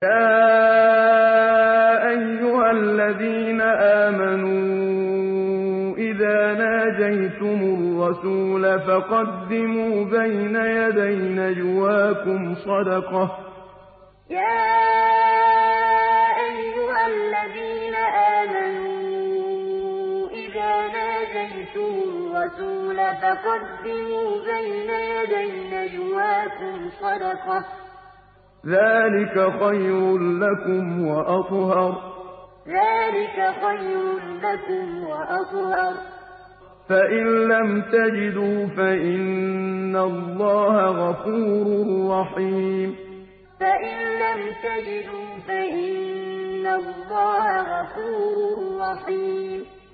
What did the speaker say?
يَا أَيُّهَا الَّذِينَ آمَنُوا إِذَا نَاجَيْتُمُ الرَّسُولَ فَقَدِّمُوا بَيْنَ يَدَيْ نَجْوَاكُمْ صَدَقَةً ۚ ذَٰلِكَ خَيْرٌ لَّكُمْ وَأَطْهَرُ ۚ فَإِن لَّمْ تَجِدُوا فَإِنَّ اللَّهَ غَفُورٌ رَّحِيمٌ يَا أَيُّهَا الَّذِينَ آمَنُوا إِذَا نَاجَيْتُمُ الرَّسُولَ فَقَدِّمُوا بَيْنَ يَدَيْ نَجْوَاكُمْ صَدَقَةً ۚ ذَٰلِكَ خَيْرٌ لَّكُمْ وَأَطْهَرُ ۚ فَإِن لَّمْ تَجِدُوا فَإِنَّ اللَّهَ غَفُورٌ رَّحِيمٌ